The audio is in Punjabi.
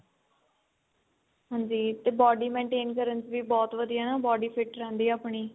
ਹਾਂਜੀ ਤੇ body maintain ਕਰਨ ਚ ਵੀ ਬਹੁਤ ਵਧੀਆ ਨਾ body fit ਰਹਿੰਦੀ ਏ ਆਪਣੀ